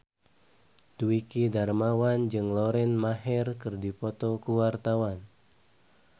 Dwiki Darmawan jeung Lauren Maher keur dipoto ku wartawan